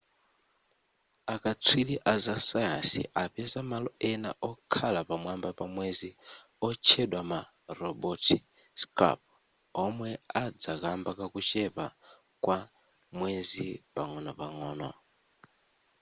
akatswiri aza sayansi apeza malo ena okhala pamwamba pa mwezi otchedwa ma labote scarp omwe adza kamba kakuchepa kwa mwezi pang'onopang'ono